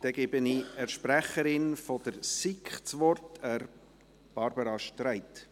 Ich gebe der Sprecherin der SiK das Wort: Barbara Streit.